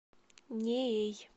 неей